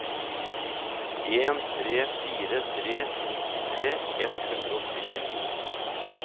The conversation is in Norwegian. en tre fire tre nittitre ett hundre og syttito